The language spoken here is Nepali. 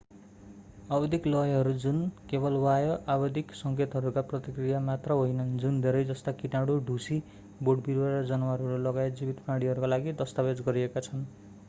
आवधिक लयहरू जुन केवल बाह्य आवधिक सङ्केतहरूका प्रतिक्रिया मात्र होइनन् जुन धेरै जस्ता किटाणु ढुसी बोटविरुवा र जनावरहरू लगायत जीवित प्राणीहरूका लागि दस्तावेज गरिएका छन्